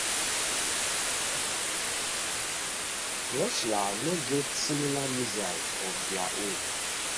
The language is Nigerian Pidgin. russia no get similar missile of dia own